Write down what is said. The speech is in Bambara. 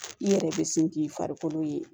I yɛrɛ bɛ sin k'i farikolo ye